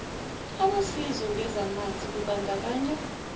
abosizo ngezamanzi kubandakanywa